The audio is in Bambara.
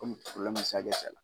Kɔmi probilɛmu bɛ